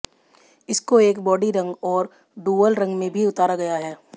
इसको एक बॉडी रंग और डुअल रंग में भी उतारा गया है